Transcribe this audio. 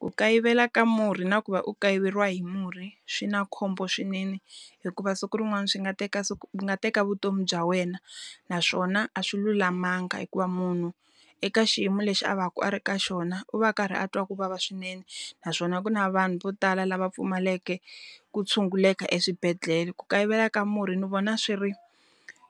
Ku kayivela ka murhi na ku va u kayiveriwa hi murhi swi na khombo swinene, hikuva siku rin'wana swi nga teka nga teka vutomi bya wena. Naswona a swi lulamanga hikuva munhu, eka xiyimo lexi a va ku a ri ka xona u va karhi a twa ku vava swinene. Naswona ku na vanhu vo tala lava pfumaleke ku tshunguleka eswibedhlele. Ku kayivela ka murhi ni vona swi ri